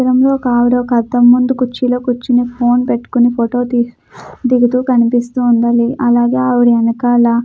Centre కనిపిస్తుంది ఒక car కూడా పార్కింగ్ అయి ఉంది అనడ సైడ్ మనకి పెద్ధ పెద్ధ బిల్డింగ్స్ కూడా ఉన్నాయి.